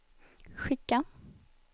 skicka